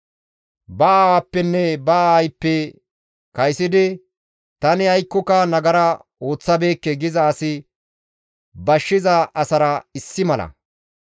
Ba aawappenne ba aayppe kaysidi, «Tani aykkoka nagara ooththabeekke» giza asi bashshiza asara issi mala.